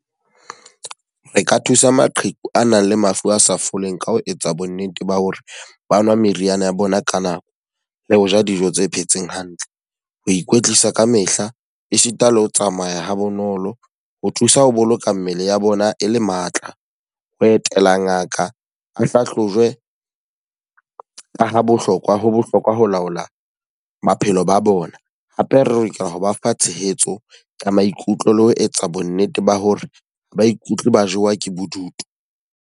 Re ka thusa maqheku a nang le mafu a sa foleng ka ho etsa bo nnete ba hore ba nwa meriana ya bona ka nako, le ho ja dijo tse phetseng hantle. Ho ikwetlisa ka mehla, esita le ho tsamaya ha bonolo. Ho thusa ho boloka mmele ya bona e le matla. Ho etela ngaka ho hlahlojwe ka ho bohlokwa ho bohlokwa ho laola bophelo ba bona. Hape a reka ho ba fa tshehetso ya maikutlo le ho etsa bo nnete ba hore ha ba ikutlwe ba jowa ke bodutu.